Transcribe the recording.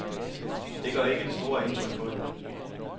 Det gør ikke det store indtryk på hende.